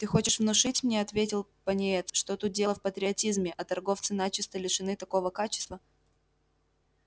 ты хочешь внушить мне ответил пониетс что тут дело в патриотизме а торговцы начисто лишены такого качества